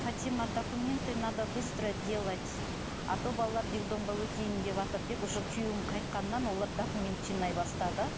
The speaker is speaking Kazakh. фатима документы надо быстро делать а то балалар детдомға өтейін деватыр деп уже күйеуім қайтқаннан олар документ жинай бастады